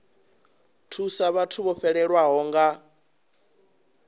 thusa vhathu vho fhelelwaho nga